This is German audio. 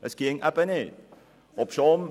Das würde eben nicht gehen.